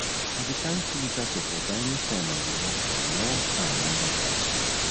i dey carry two litres of water anytime i dey work for long time under dry sun